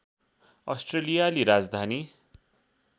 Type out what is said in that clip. अस्ट्रेलियाली राजधानी